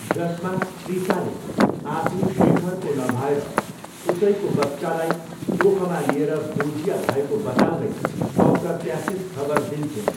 जसमा त्रिसाले आफू शेखरको नभएर उसैको बच्चालाई कोखमा लिएर दोजिया भएको बताउँदै अप्रत्यासित खबर दिन्छिन्।